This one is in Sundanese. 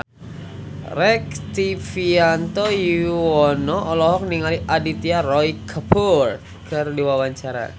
Rektivianto Yoewono olohok ningali Aditya Roy Kapoor keur diwawancara